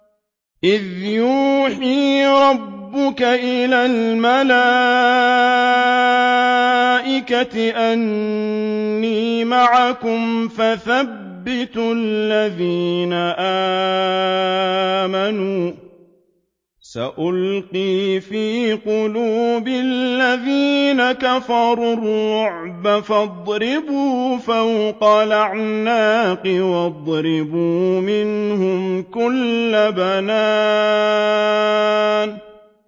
إِذْ يُوحِي رَبُّكَ إِلَى الْمَلَائِكَةِ أَنِّي مَعَكُمْ فَثَبِّتُوا الَّذِينَ آمَنُوا ۚ سَأُلْقِي فِي قُلُوبِ الَّذِينَ كَفَرُوا الرُّعْبَ فَاضْرِبُوا فَوْقَ الْأَعْنَاقِ وَاضْرِبُوا مِنْهُمْ كُلَّ بَنَانٍ